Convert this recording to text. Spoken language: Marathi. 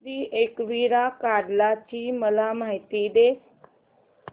श्री एकविरा कार्ला ची मला माहिती दे